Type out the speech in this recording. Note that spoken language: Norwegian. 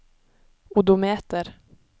odometer